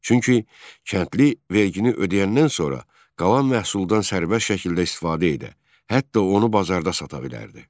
Çünki kəndli vergini ödəyəndən sonra qalan məhsuldan sərbəst şəkildə istifadə edə, hətta onu bazarda sata bilərdi.